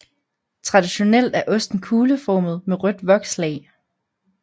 Traditionelt er osten kugleformet med rødt vokslag